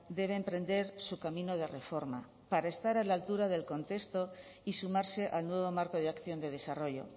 debe emprender su camino de reforma para estar a la altura del contexto y sumarse al nuevo marco de acción de desarrollo